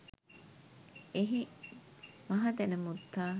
එහි මහදැනමුත්තා